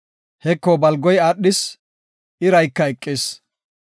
Heko, balgoy aadhis; irayka eqis.